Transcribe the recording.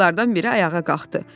Qızlardan biri ayağa qalxdı.